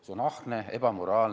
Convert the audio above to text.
See on ahne ja ebamoraalne.